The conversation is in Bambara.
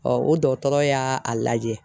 o dɔgɔtɔrɔ y'a a lajɛ